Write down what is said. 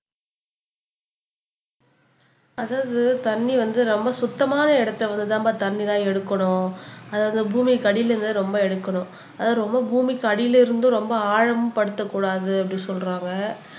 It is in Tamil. அதாவது தண்ணி வந்து ரொம்ப சுத்தமான இடத்தில் இருந்து தான்பா தண்ணி எல்லாம் எடுக்கணும் அதுவும் பூமிக்கு அடியிலிருந்துதான் ரொம்ப எடுக்கணும் ரொம்ப பூமிக்கு அடியில் இருந்து ரொம்ப ஆழம் படுத்த கூடாது அப்படின்னு சொல்றாங்க